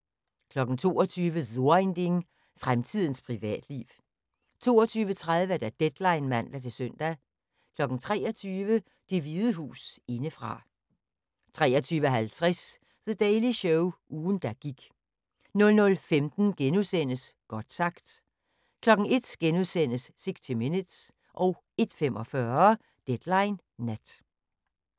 22:00: So ein Ding: Fremtidens privatliv 22:30: Deadline (man-søn) 23:00: Det Hvide Hus indefra 23:50: The Daily Show – ugen der gik 00:15: Godt sagt * 01:00: 60 minutes * 01:45: Deadline Nat